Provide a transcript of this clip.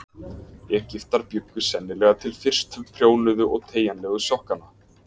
Egyptar bjuggu sennilega til fyrstu prjónuðu og teygjanlegu sokkana.